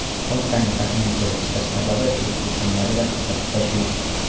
Hodisaning taxminiy kelib chiqish sababi elektr simlarida qisqa tutashuv.